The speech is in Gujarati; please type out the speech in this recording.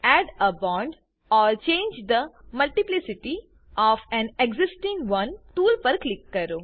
add a bond or change the multiplicity of an existing one tool પર ક્લિક કરો